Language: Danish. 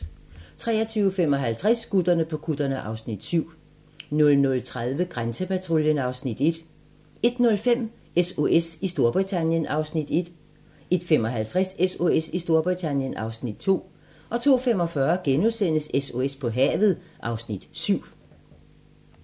23:55: Gutterne på kutterne (Afs. 7) 00:30: Grænsepatruljen (Afs. 1) 01:05: SOS i Storbritannien (Afs. 1) 01:55: SOS i Storbritannien (Afs. 2) 02:45: SOS på havet (Afs. 7)*